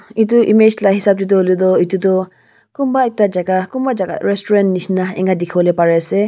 etu image laga hisab te tu etu tu kunba ekta jagah kunba jagah restaurant nisna eninka dekhi bole Pari ase.